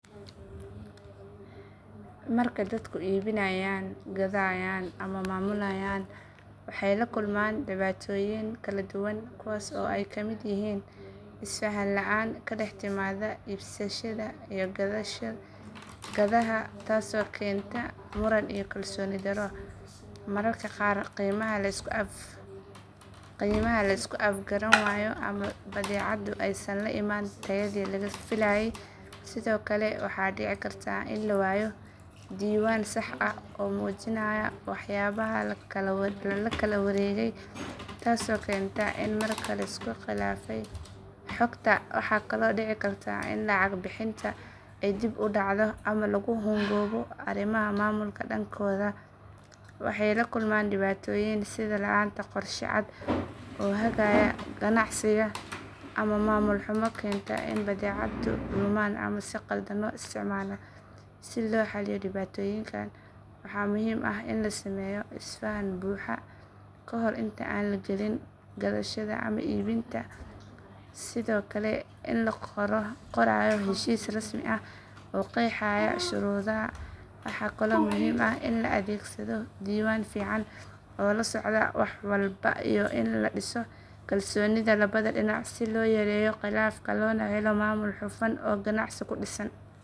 Marka dadku iibinayaan gadayaan ama maamulayaan waxay la kulmaan dhibaatooyin kala duwan kuwaas oo ay ka mid yihiin isfahan la'aan ka dhex timaada iibsadaha iyo gadaha taasoo keenta muran iyo kalsooni darro mararka qaar qiimaha la isku afgaran waayo ama badeecaddu aysan la imaan tayadii laga filayay sidoo kale waxaa dhici karta in la waayo diiwaan sax ah oo muujinaya waxyaabaha la kala wareegay taasoo keenta in markaa la isku khilaafay xogta waxaa kaloo dhici karta in lacag bixinta ay dib u dhacdo ama lagu hungoobo arrimaha maamulka dhankooda waxay la kulmaan dhibaatooyin sida la’aanta qorshe cad oo hagaya ganacsiga ama maamul xumo keenta in badeecado lumaan ama si khaldan loo isticmaalo si loo xalliyo dhibaatooyinkan waxaa muhiim ah in la sameeyo isfahan buuxa kahor inta aan la gelin gadashada ama iibinta sidoo kale in la qorayo heshiis rasmi ah oo qeexaya shuruudaha waxaa kaloo muhiim ah in la adeegsado diiwaan fiican oo la socdo wax walba iyo in la dhiso kalsoonida labada dhinac si loo yareeyo khilaafka loona helo maamul hufan oo ganacsi ku dhisan.